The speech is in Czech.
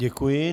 Děkuji.